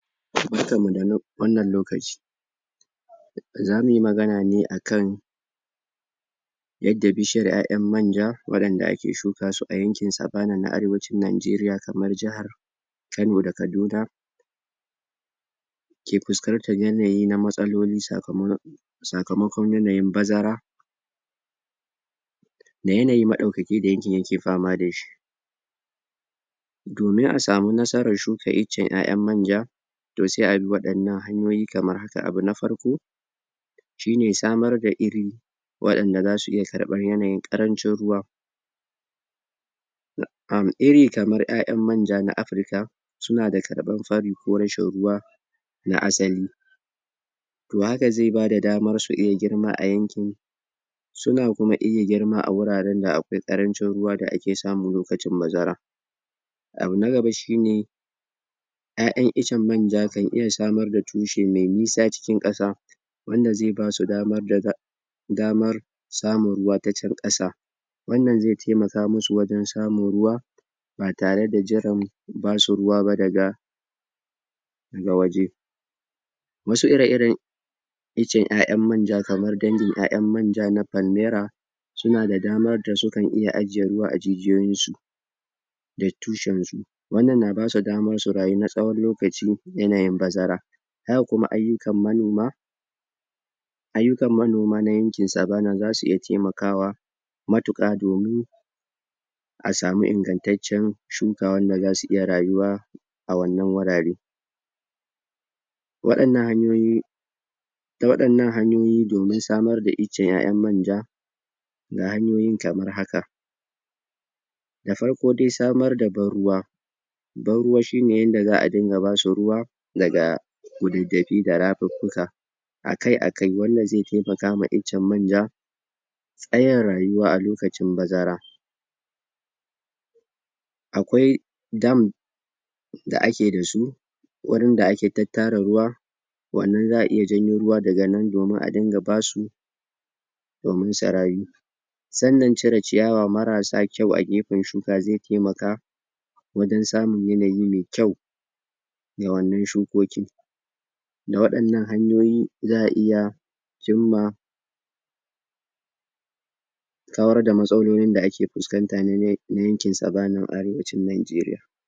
Barka da wannan lokaci! Za mu yi magana ne a kan yadda bishiyar ƴaƴan manja, waɗanda ake shika su a yankin Savannah na Arewacin Najeriya, kamar jihar Kano da Kaduna. ke fuskantar yanayi na matsaloli sakamakon yanayin bazara da yanayi maɗaukaki da yankin yake fama da shi. Domin a samu nasarar shuka icen ƴaƴan manja, to sai a bi waɗannan hanyoyi kamar haka: abu na farko, shi ne samar da iri waɗanda za su iya karɓar yanayin ƙarancin ruwa. um Iri kamar ƴaƴan manja na Afirka suna da karɓan fari ko rashin ruwa na asali To haka zai ba da damar su iya girma a yankin suna kuma iya girma a wuraren da akwai ƙarancin ruwa da ake samu lokacin bazara Abu na gaba shi ne: ƴaƴan icen manja kan iya samar da tushe mai nisa cikin ƙasa wanda zai ba su damar samun ruwa ta can ƙasa. Wannan zai taimaka musu wajen samun ruwa ba tare da jiran ba su ruwa ba daga ga waje Wasu ire-iren icen ƴaƴan manja, kamar dangin ƴaƴan manja na Falmera, suna da damar da sukan iya ajiye ruwa a jijiyoyinsu. daga tushensu. Wannan na ba su damar su rayu na tsawon lokaci a yanayin bazara. Haka kuma ayyukan manoma ayyukan manoma na yankin Savannah za su iya taimakawa matuƙa, domin a samu ingantaccen shuka wanda za su iya rayuwa a wannan wurare. Waɗannan hanyoyi, waɗannan hanyoyi domin samar da icen ƴaƴan manja. Ga hanyoyin kamar haka: da farko dai samar da ban-ruwa, ban-ruwa shi ne yanda za a ba su ruwa daga kududdafi da rafuffuka a kai a kai. Wannan zai taimaka ma icen manja tsayin rayuwa a lokacin bazara. Akwai dam da ake da su--wurin da ake tattara ruwa wannan za a iya janyo ruwa daga nan domin a dinga ba su domin su rayu Waɗannan cire ciyawa marasa kyau a gefen shuka zai taimaka wajen samun da yanayi mai kyau ma wannan shukokin. da waɗannan hanyoyi, za a iya cimma kawar da matsalolin da ake fuskanta na yankin Savannan Arewacin Najeriya.